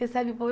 Recebe por